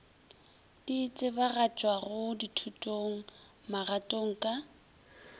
di tsebagatšwago thutong magatong ka